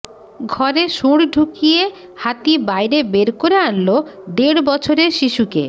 ঘরে শুঁড় ঢুকিয়ে হাতি বাইরে বের করে আনল দেড় বছরের শিশুকে